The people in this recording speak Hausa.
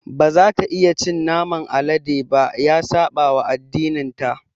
Ba za ta iya cin naman alade ba. Ya saɓawa addininta.